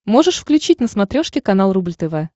можешь включить на смотрешке канал рубль тв